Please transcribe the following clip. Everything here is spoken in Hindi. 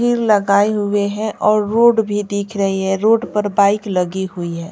हीर लगाए हुए हैं और रोड भी दिख रही है रोड पर बाइक लगी हुई है।